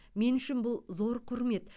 мен үшін бұл зор құрмет